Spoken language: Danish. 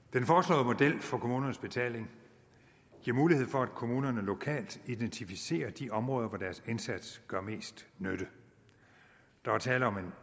den for kommunernes betaling giver mulighed for at kommunerne lokalt identificerer de områder hvor deres indsats gør mest nytte der er tale om en